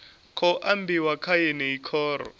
khou ambiwa kha yeneyi khoro